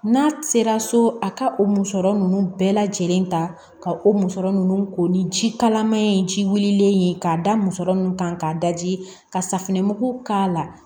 N'a sera so a ka o musɔrɔ nunnu bɛɛ lajɛlen ta ka o musɔrɔ nunnu ko ni jikalaman ye ji wililen ye k'a da musɔrɔ kan ka daji ka safinɛmugu k'a la